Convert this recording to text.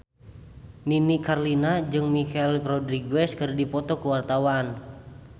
Nini Carlina jeung Michelle Rodriguez keur dipoto ku wartawan